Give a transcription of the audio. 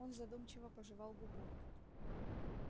он задумчиво пожевал губу